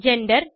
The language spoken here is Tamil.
ஜெண்டர்